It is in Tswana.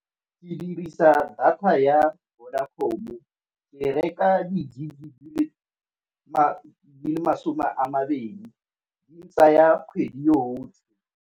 Ke dirisa data ya Vodacom-o ke e reka di-gig di le masome a mabedi, di ntsaya kgwedi yo yotlhe.